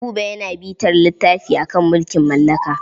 Buba yana bitar littafi a kan mulkin mallaka.